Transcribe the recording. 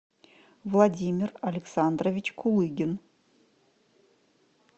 владимир александрович кулыгин